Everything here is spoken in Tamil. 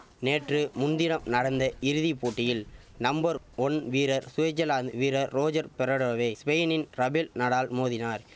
நேற்று முன்தினம் நடந்த இறுதி போட்டியில் நம்பர் ஒன் வீரர் சுவிசர்லாந்து வீரர் ரோஜர் பெரடோவை ஸ்பெயினின் ரபெல் நடால் மோதினார்